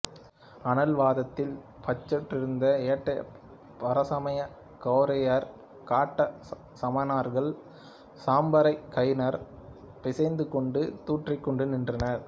அனல் வாதத்தில் பச்சென்றிருந்த ஏட்டைப் பரசமய கோளரியார் காட்ட சமணர்கள் சாம்பரைக் கையினாற் பிசைந்துகொண்டு தூற்றிக்கொண்டு நின்றனர்